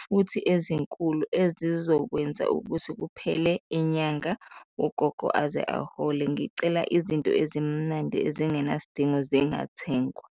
futhi ezinkulu ezizokwenza ukuthi kuphele inyanga ugogo aze ahole, ngicela izinto ezimnandi ezingenasidingo zingathengwa.